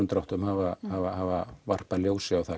dráttum hafa hafa hafa varpað ljósi á